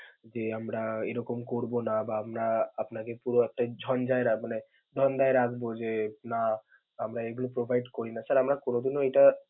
যে আমরা এরকম করব না বা আমরা আপনাকে পুরো একটা ঝঞ্জায়~ রাখবো না ধান্ধায় রাখবো যে না, আমরা এগুলো provide করি না. sir আমরা কোনদিনও এটা.